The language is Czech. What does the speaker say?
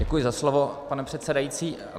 Děkuji za slovo, pane předsedající.